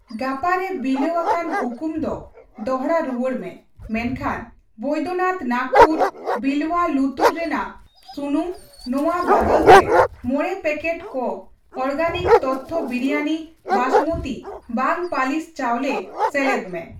ᱜᱟᱯᱟ ᱨᱮ ᱵᱤᱞᱟᱹᱣ ᱟᱠᱟᱱ ᱦᱩᱠᱩᱢ ᱫᱚ ᱫᱚᱲᱦᱟ ᱨᱩᱣᱟᱹᱲᱢᱮ ᱢᱮᱱᱠᱷᱟᱱ ᱵᱚᱭᱫᱚᱱᱟᱛᱷ ᱱᱟᱜᱯᱩᱨ ᱵᱤᱞᱣᱭᱟ ᱞᱩᱛᱩᱨ ᱨᱮᱱᱟᱜ ᱥᱩᱱᱩᱢ ᱱᱚᱣᱟ ᱵᱟᱫᱟᱞᱛᱮ ᱕ ᱯᱮᱠᱮᱴ ᱠᱚ ᱚᱨᱜᱮᱱᱤᱠ ᱛᱚᱛᱛᱷᱚ ᱵᱤᱨᱤᱭᱟᱱᱤ ᱵᱟᱸᱥᱢᱚᱛᱤ ᱵᱟᱝ ᱯᱟᱹᱞᱤᱥ ᱪᱟᱣᱞᱮ ᱥᱮᱞᱮᱫ ᱢᱮ ᱾